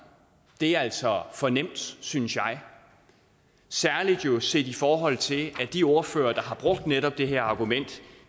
det er altså for nemt synes jeg særlig set i forhold til at de ordførere der har brugt netop det her argument